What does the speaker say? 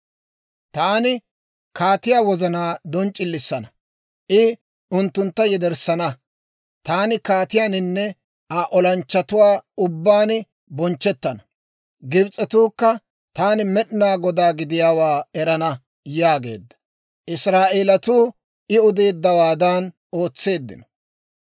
Taani kaatiyaa wozanaa donc'c'ilisanna; I unttuntta yederssana; taani kaatiyaaninne Aa olanchchatuwaa ubbaan bonchchettana; Gibs'etuukka taani Med'inaa Godaa gidiyaawaa erana» yaageedda. Israa'eelatuu I odeeddawaadan ootseeddino.